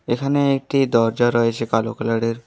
এখানে একটি দরজা রয়েছে কালো কালারের।